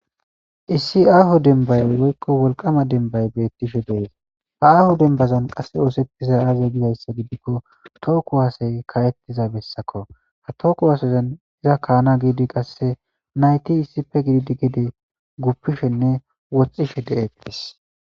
Issi aaho denbay goykko wolqama denbay beettishe dees ha aaho dembazan qasse oosettiza aaze gizayssa gidikko tooku waasay kayettiza bessako ha tooku wasazan iza kaana giidi qasse nayti issife gididi gede guppishenne woxxishe de'eqphis.